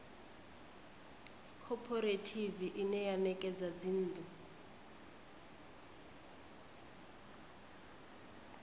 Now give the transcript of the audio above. khophorethivi ine ya ṋekedza dzinnḓu